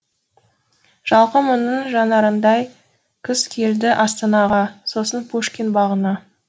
жалқы мұңның жанарындай күз келді астанаға сосын пушкин бағына